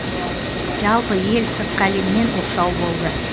жалпы ел сыртқы әлемнен оқшау болды